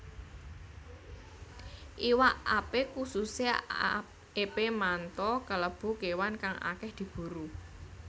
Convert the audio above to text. Iwak epé kususé epé manta kalebu kéwan kang akèh diburu